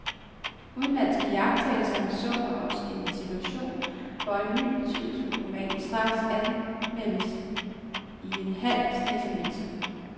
Udenlandske iagttagere misunder os en situation, hvor en ny betydningsfuld roman straks anmeldes i en halv snes aviser.